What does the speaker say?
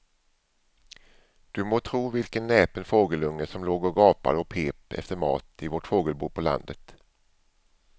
Du må tro vilken näpen fågelunge som låg och gapade och pep efter mat i vårt fågelbo på landet.